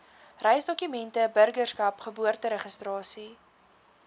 reisdokumente burgerskap geboorteregistrasie